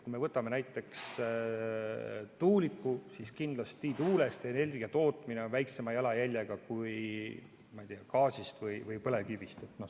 Kui me võtame näiteks tuuliku, siis kindlasti tuulest energia tootmine on väiksema jalajäljega kui gaasist või põlevkivist tootmine.